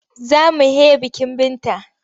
Za mu he bikin Binta.